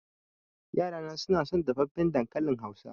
Yarana na son dafaffen dankalin Hausa.